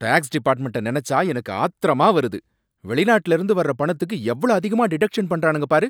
Tax டிபார்ட்மெண்ட்ட நனைச்சா எனக்கு ஆத்திரமா வருது, வெளிநாட்டுல இருந்து வர்ற பணத்துக்கு எவ்ளோ அதிகமா டிடக்ஷன் பண்றானுங்க பாரு!